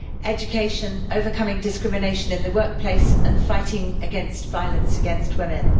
education, overcoming discrimination in the workplace and fighting against violence against women.